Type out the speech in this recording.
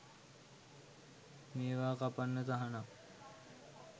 මේව කපන්න තහනම්.